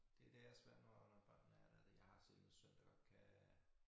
Det det er svært når når børnene er der det jeg har selv en søn der godt kan